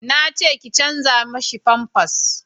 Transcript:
na ce ki canja mishi famfas